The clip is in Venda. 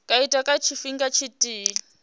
nga itwa nga tshifhinga tshithihi